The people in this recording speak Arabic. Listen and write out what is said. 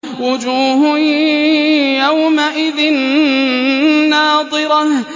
وُجُوهٌ يَوْمَئِذٍ نَّاضِرَةٌ